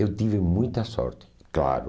Eu tive muita sorte, claro.